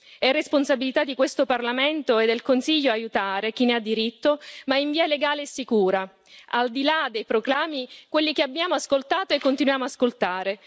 È responsabilità di questo Parlamento e del Consiglio aiutare chi ne ha diritto, ma in via legale e sicura, al di là dei proclami, quelli che abbiamo ascoltato e continuiamo ascoltare.